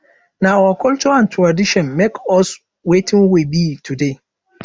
nah our culture and tradition make us wetin we be today